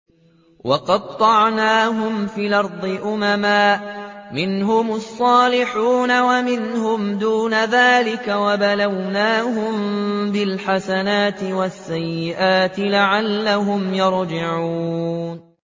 وَقَطَّعْنَاهُمْ فِي الْأَرْضِ أُمَمًا ۖ مِّنْهُمُ الصَّالِحُونَ وَمِنْهُمْ دُونَ ذَٰلِكَ ۖ وَبَلَوْنَاهُم بِالْحَسَنَاتِ وَالسَّيِّئَاتِ لَعَلَّهُمْ يَرْجِعُونَ